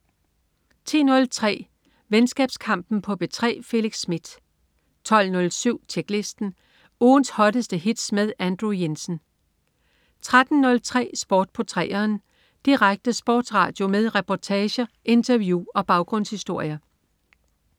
10.03 Venskabskampen på P3. Felix Smith 12.07 Tjeklisten. Ugens hotteste hits med Andrew Jensen 13.03 Sport på 3'eren. Direkte sportsradio med reportager, interview og baggrundshistorier